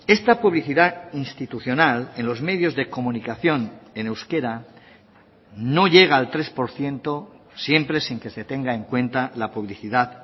esta publicidad institucional en los medios de comunicación en euskera no llega al tres por ciento siempre sin que se tenga en cuenta la publicidad